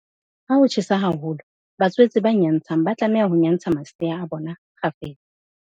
Ha ho tjhesa haholo, batswetse ba nyantshang ba tlameha ho nyantsha masea a bona kgafetsa.